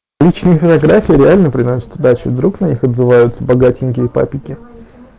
личные фотографии реально приносит удачу вдруг на них отзываются богатенькие папики